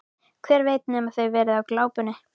Hver veit nema þau hafi verið á glápinu.